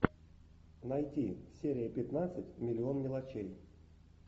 найти серия пятнадцать миллион мелочей